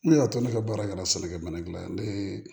Ne y'a to ne ka baara kɛra sɛnɛkɛ minɛn ne ye